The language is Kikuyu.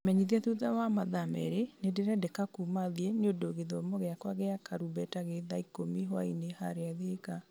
menyithia thutha wa mathaa merĩ nĩ ndĩrendeka kuma thiĩ nĩũndũ gĩthomo gĩakwa gĩa karumbeta gĩ thaa ikũmi hwaĩ-inĩ harĩa thika